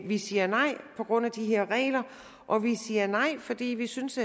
vi siger nej på grund af de her regler og vi siger nej fordi vi synes